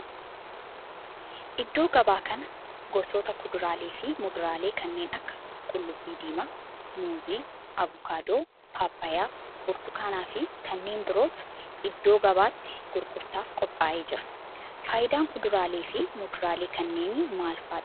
iddoo gabaa kana gosoota kuduraalee fi muduraalee kanneen akka qullubbuu diimaa, muuzii, avokaadoo, pappaayyaa, burtukaana fi kanneen birootu iddoo gabatti gurgurtaaf qophaa'ee jira. faayidaan kuduraalee fi muduraalee kanneenii maal fa'aadha?